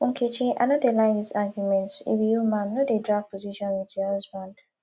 nkechi i no dey like dis argument you be woman no dey drag position with your husband